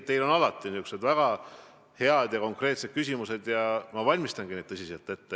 Teil on alati väga head ja konkreetsed küsimused ja ma valmistangi vastused tõsiselt ette.